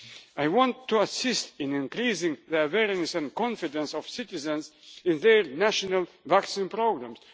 immunisation. I want to assist in increasing the bearings and confidence of citizens in their national vaccine